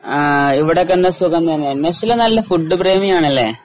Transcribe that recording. ആഹ് ഇവിടെയൊക്കെ എന്നാ സുഖം തന്നെ. നശ്വല നല്ല ഫുഡ് പ്രേമിയാണല്ലേ?